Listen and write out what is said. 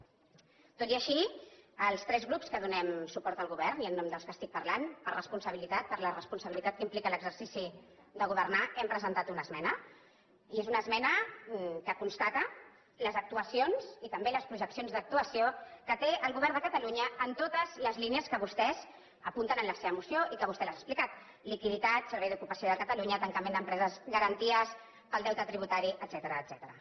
tot i així els tres grups que donen suport al govern i en nom dels quals estic parlant per responsabilitat per la responsabilitat que implica l’exercici de governar hem presentat una esmena i és una esmena que constata les actuacions i també les projeccions d’actuació que té el govern de catalunya en totes les línies que vostès apunten en la seva moció i que vostè les ha explicades liquiditat servei d’ocupació de catalunya tancament d’empreses garanties pel deute tributari etcètera